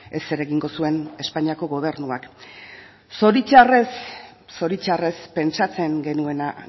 ez zer egingo zuen espainiako gobernuak zoritxarrez zoritxarrez pentsatzen genuena